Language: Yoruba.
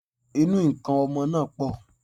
Ìnu nkan ọmọ náà pọ̀